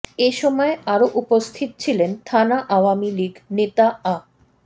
এ সময় আরও উপস্থিত ছিলেন থানা আওয়ামী লীগ নেতা আ